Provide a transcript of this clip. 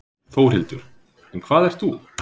Þórhildur: En hvað ert þú?